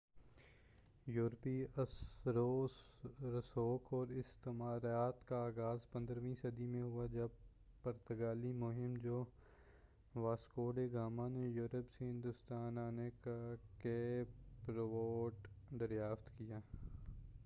یوروپی اثرو رسوخ اور استعماریت کا آغاز 15ویں صدی میں ہوا جب پرتگالی مہم جو واسکو ڈی گاما نے یوروپ سے ہندوستان آنےکا کیپ روٹ دریافت کیا